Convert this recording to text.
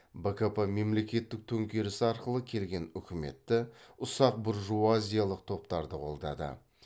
бкп мемлекеттік төңкеріс арқылы келген үкіметті ұсақ буржуазиялық топтарды қолдады